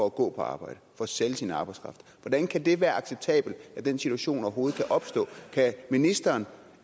at gå på arbejde for at sælge sin arbejdskraft hvordan kan det være acceptabelt at den situation overhovedet kan opstå kan ministeren